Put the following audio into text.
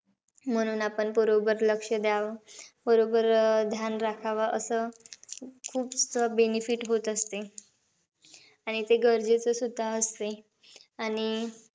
म्हणून आपण बरोबर लक्ष द्यावं. बरोबर अं ध्यान राखावं. असं खूप benefit होत असते. आणि ते गरजेचं सुद्धा असते. आणि,